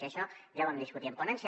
i això ja ho vam discutir en ponència